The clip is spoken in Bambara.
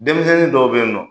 Denmisɛnnin dɔw be in nɔn